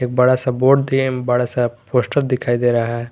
एक बड़ा बोर्ड बड़ा सा पोस्टर दिखाई दे रहा है।